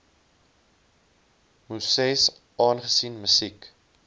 muses aangesien musiek